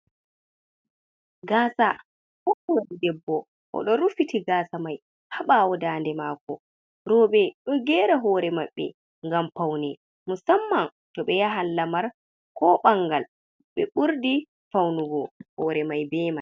Gaasa ɗuuɗɗum ,debbo o ɗo rufiti gaasa may haa ɓaawo daande maako. Rowɓe ɗo geera hoore maɓbe ngam fawne ,musamman to ɓe yahan lamar ko banngal, ɓe ɓurdi fawnugo hoore may be may.